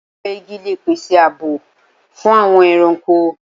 Awọn igi le pese ààbò fun awọn ẹranko